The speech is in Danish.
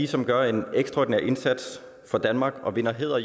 som gør en ekstraordinær indsats for danmark og vinder hæder